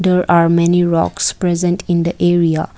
there are many rocks present in the area.